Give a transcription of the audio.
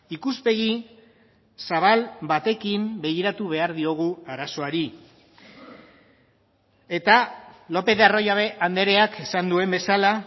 ikuspegi zabal batekin begiratu behar diogu arazoari eta lopez de arroyabe andreak esan duen bezala